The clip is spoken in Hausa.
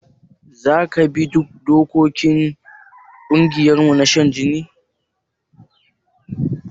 Zaka bi dokokin ƙungiyarmu ta shan jini?